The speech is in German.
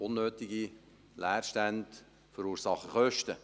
Unnötige Leerstände verursachen Kosten.